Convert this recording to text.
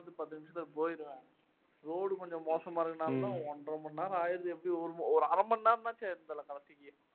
பத்து நிமிஷத்துல போயிடுவேன், ரோடு கொஞ்சம் மோசமா இருக்கிறதுனாலே தான் ஒன்றரை மணி நேரம் ஆயிடுது எப்படிṅயும் ஒரு அரை மணி நேரமாச்சும் எடுக்கும்